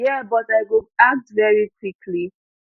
yeah but i go act very quickly